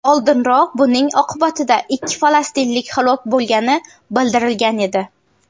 Oldinroq buning oqibatida ikki falastinlik halok bo‘lgani bildirilgan edi .